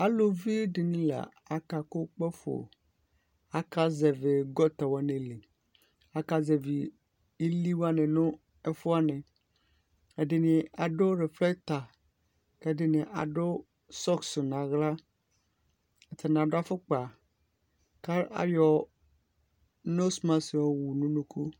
Aluvi di ni la akakʋ kpafo Akazɛvi gɔta wani li Akazɛvi ili wani nʋ ɛfʋ wani Ɛdini adʋ riflɛkta, ɛdini adʋ sɔkisi nʋ aɣla Atani adʋ afkpa kʋ ayɔ nosimasiki yɔwu nʋ unuku